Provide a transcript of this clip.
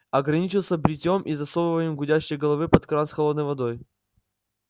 ограничился бритьём и засовыванием гудящей головы под кран с холодной водой